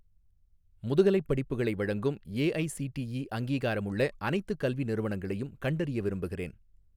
முதுகலைப் படிப்புகளை வழங்கும் ஏஐஸிடிஇ அங்கீகாரமுள்ள அனைத்துக் கல்வி நிறுவனங்களையும் கண்டறிய விரும்புகிறேன்